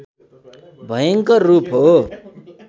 भयंकर रूप हो